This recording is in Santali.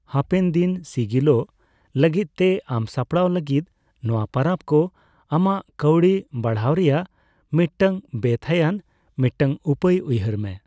ᱦᱟᱯᱮᱱ ᱫᱤᱱ ᱥᱤᱜᱤᱞᱚᱜ ᱞᱟᱜᱤᱫᱛᱮ ᱟᱢ ᱥᱟᱯᱲᱟᱜ ᱞᱟᱜᱤᱫ ᱱᱚᱣᱟ ᱯᱟᱨᱟᱵ ᱠᱚ ᱟᱢᱟᱜ ᱠᱟᱹᱣᱰᱤ ᱵᱟᱹᱲᱦᱟᱣ ᱨᱮᱭᱟᱜ ᱢᱤᱫᱴᱟᱝ ᱵᱮᱼᱛᱷᱟᱹᱭᱟᱱ ᱢᱤᱫᱴᱟᱝ ᱩᱯᱟᱹᱭ ᱩᱭᱦᱟᱹᱨ ᱢᱮ ᱾